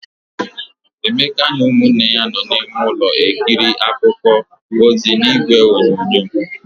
Emeka na ụmụnne ya nọ n'ime ọnụ ulọ ekiri akụkọ ozi n'igwe onyonyo.